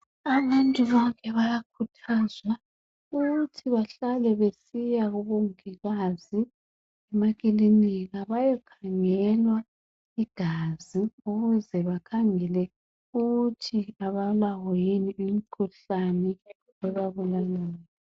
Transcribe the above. Abantu bonke bayakhuthazwa ukuthi bahlale besiya kubongikazi emakilinika baye khangelwa igazi ukuze bakhangele ukuthi abalawo yini imikhuhlane ebabulalayo.